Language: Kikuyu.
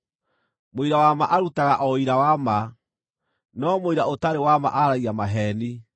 Mũira wa ma arutaga o ũira wa ma, no mũira ũtarĩ wa ma aaragia maheeni.